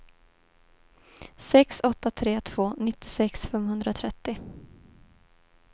sex åtta tre två nittiosex femhundratrettio